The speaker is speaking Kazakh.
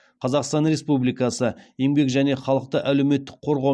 қазақстан республикасы еңбек және халықты әлеуметтік қорғау